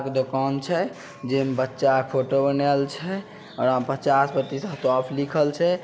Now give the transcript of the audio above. एक दुकान छै जे में बच्चा के फोटो बनायएल छै अ ओय में पच्चास प्रतिशत ऑफ लिखल छै।